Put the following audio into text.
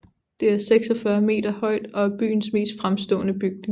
Det er 46 meter højt og er byens mest fremstående bygning